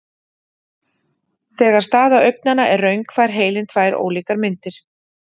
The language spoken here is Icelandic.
Þegar staða augnanna er röng fær heilinn tvær ólíkar myndir.